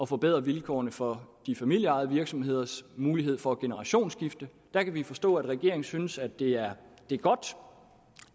forbedre vilkårene for de familieejede virksomheders mulighed for generationsskifte der kan vi forstå at regeringen synes at det er godt